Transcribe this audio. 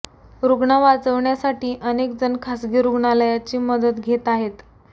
रुग्ण वाचविण्यासाठी अनेक जण खासगी रुग्णलयाची मदत घेत आहे